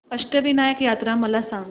अष्टविनायक यात्रा मला सांग